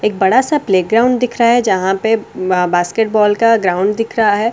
एक बड़ा सा प्लेग्राउंड दिख रहा है जहां पे बास्केट बॉल का ग्राउंड दिख रहा है।